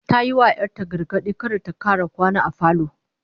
Ta yi wa 'yar ta gargadi kada ta kara kwana a falo